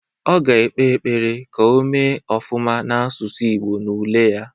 Ọ ga ekpe ekpere ka o mee ofụma n'asụsụ Ịgbo n'ule ya